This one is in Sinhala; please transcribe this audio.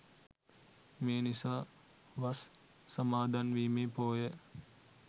මේ නිසා වස් සමාදන්වීමේ පෝය